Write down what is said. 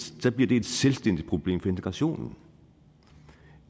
selvstændigt problem for integrationen